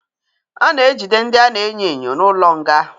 A na-ejide ndị a na-enyo enyo n'ụlọ nga.